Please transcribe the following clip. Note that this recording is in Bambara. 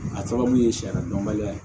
A sababu ye sariya dɔnbaliya ye